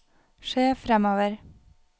se fremover